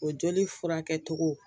O joli furakɛ cogo